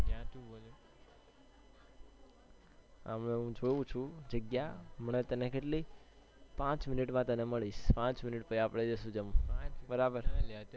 હમણાં હૂં જોઉં છુ જગ્યા પાંચ minit માં તને મલિશ પાંચ minit માં પછી જઈશું જમવા બરાબર